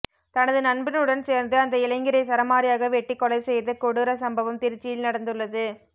தனது நண்பனுடன் சேர்ந்து அந்த இளைஞரை சரமாரியாக வெட்டிக் கொலை செய்த கொடூர சம்பவம் திருச்சியில் நடந்துள்ளது